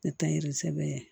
Ne ta ye sɛbɛ ye